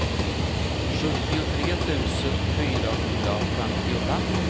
sjuttiotre tusen fyrahundrafemtiofem